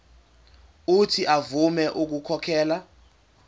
uuthi avume ukukhokhela